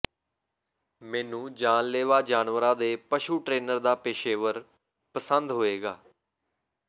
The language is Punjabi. ਮੈਨੂੰ ਜਾਨਲੇਵਾ ਜਾਨਵਰਾਂ ਦੇ ਪਸ਼ੂ ਟ੍ਰੇਨਰ ਦਾ ਪੇਸ਼ੇਵਰ ਪਸੰਦ ਹੋਏਗਾ